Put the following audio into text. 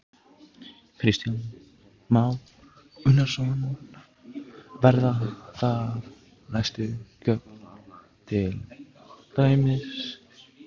Kristján Már Unnarsson: Verða það næstu göng til dæmis?